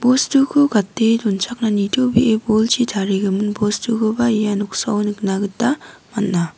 bostuko gate donchakani nitobee bolchi tarigimin bostukoba ia noksao nikna gita man·a.